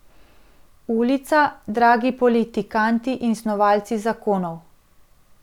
Ulica, dragi politikanti in snovalci zakonov.